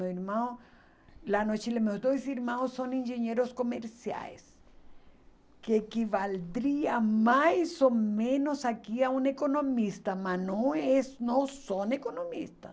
Meu irmão lá no Chile... Meus dois irmãos são engenheiros comerciais, que equivaliam mais ou menos aqui a um economista, mas não és não são economistas.